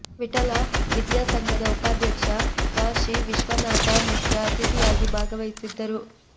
ವಿಠಲ ವಿದ್ಯಾ ಸಂಘದ ಉಪಾಧ್ಯಕ್ಷ ಕ ಶಿ ವಿಶ್ವನಾಥ ಮುಖ್ಯ ಅತಿಥಿಯಾಗಿ ಭಾಗವಹಿಸಿದ್ದರು